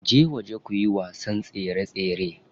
Je waje kuyi wasan tsere tsere.